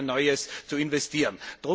in ein neues zu investieren.